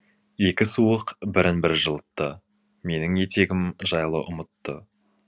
екі суық бірін бірі жылытты менің етегім жайлы ұмытты